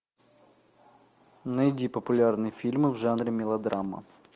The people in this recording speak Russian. найди популярные фильмы в жанре мелодрама